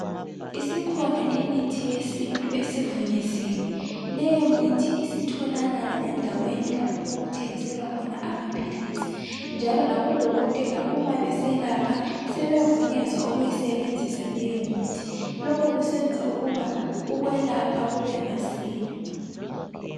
Isikhona imithi yesintu esivunyeziwe leyomithi isitholakala endaweni lapho okuthengiselwa khona amaphilisi njalo labo dokotela uuma beselapha sebevunyezwa ukuyisebenzisa leyo mithi. Lokhu kusenza ukuba ukwelapha kube masinya.